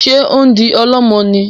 Ṣe o ń di ọlọmọ ní?